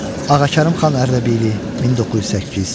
Ağakərimxan Ərdəbili 1908.